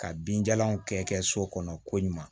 Ka binjalanw kɛ so kɔnɔ ko ɲuman